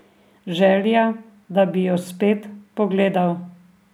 Želja, da bi jo spet pogledal.